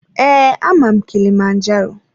Ee, ama m kilimanjaro.